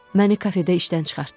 Məni kafedə işdən çıxartdı.